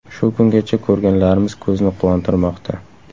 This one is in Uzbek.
Shu kungacha ko‘rganlarimiz ko‘zni quvontirmoqda.